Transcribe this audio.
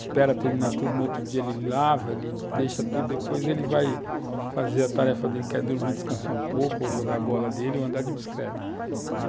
Espera terminar tudo, no outro dia ele lava, ele deixa tudo, depois ele vai fazer a tarefa dele, quer dormir, descansar um pouco, ou jogar a bola dele, ou andar de bicicleta.